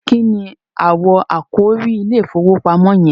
kíni awọ àkòrí ìIlé ìfowópamọ́ yen?